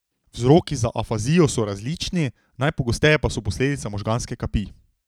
Vzroki za afazijo so različni, najpogosteje pa so posledica možganske kapi.